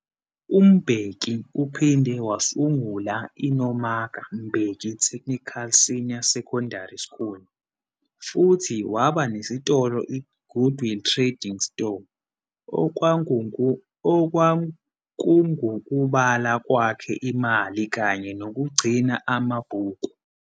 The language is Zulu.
UMbeki uphinde wasungula iNomaka Mbeki Technical Senior Secondary School futhi waba nesitolo iGoodwill Trading Store, okwakungukubala kwakhe imali kanye nokugcina amabhuku.